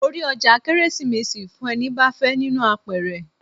Mo rí ọjà Kérésìmesì fún ẹni bá fẹ́ nínú àpẹrẹ.